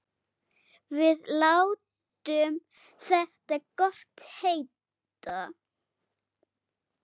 Við látum þetta gott heita.